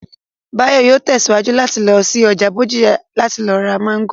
Báyọ̀ yóò tẹ̀síwájú láti lọ sí ọjà Bódìjà láti lọ ra Máńgò